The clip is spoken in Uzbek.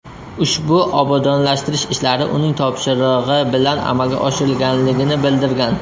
Ushbu obodonlashtirish ishlari uning topshirig‘i bilan amalga oshirilganligini bildirgan.